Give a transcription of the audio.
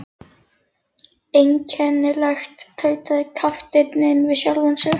Einkennilegt, tautaði kapteinninn við sjálfan sig.